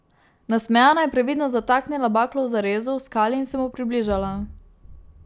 Nasmejana je previdno zataknila baklo v zarezo v skali in se mu približala.